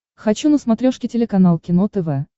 хочу на смотрешке телеканал кино тв